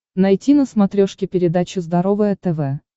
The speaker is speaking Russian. найти на смотрешке передачу здоровое тв